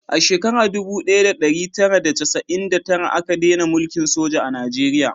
A shekara dubu daya da dari tara da chasa'in da tara a ka dena mulkin soja a najeriya